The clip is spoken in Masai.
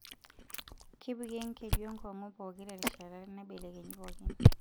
Kepiki enkeju enkungu pookin terishata naibelekenyi pookin.